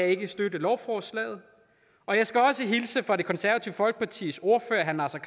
ikke støtte lovforslaget og jeg skal også hilse fra det konservative folkepartis ordfører herre naser